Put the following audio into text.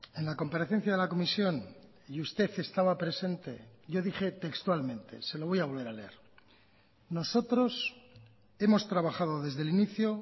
en la comparecencia de la comisión y usted estaba presente yo dije textualmente se lo voy a volver a leer nosotros hemos trabajado desde el inicio